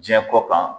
Diɲɛ ko kan